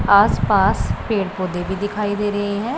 आसपास पेड़-पौधे भी दिखाई दे रहे हैं।